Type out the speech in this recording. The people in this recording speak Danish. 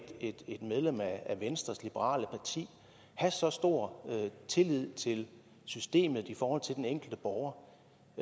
medlem af venstres liberale parti have så stor tillid til systemet i forhold til den enkelte borger